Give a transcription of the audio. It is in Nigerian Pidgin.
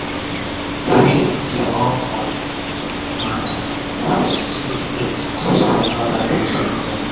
na d way wey she dey dey run moni mata for secret cause wahala between dem